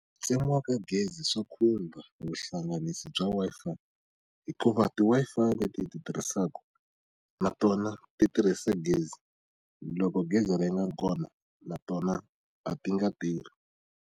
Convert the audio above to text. Ku tsemiwa ka gezi swi khumba vuhlanganisi bya Wi-Fi hikuva ti-Wi-Fi leti ti tirhisaka na tona ti tirhisa gezi loko gezi ri nga kona na tona a ti nga tirhi.